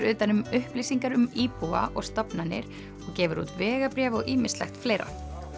utan um upplýsingar um íbúa og stofnanir og gefur út vegabréf og ýmislegt fleira